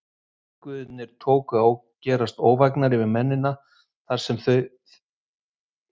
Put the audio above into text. Veðurguðirnir tóku og að gerast óvægnari við mennina, sem þar áttust við.